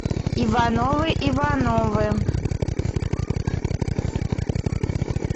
ивановы ивановы